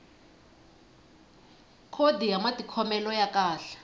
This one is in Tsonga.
khodi ya matikhomelo ya kahle